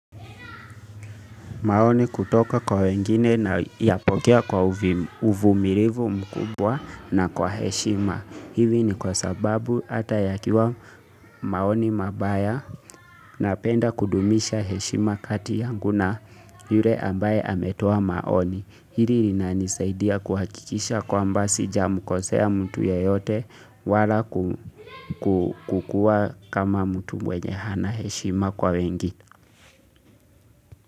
Maoni kutoka kwa wengine nai nayapokea kwa uvu uvumilivu mkubwa na kwa heshima. Hili ni kwa sababu ata yakiwa maoni mabaya napenda kudumisha heshima kati yangu na yule ambaye ametoa maoni. Hili linani saidia kuhakikisha kwaamba sija mkosea mtu yeyote wala ku kukua kama mtu mwenye hana heshima kwa wengi.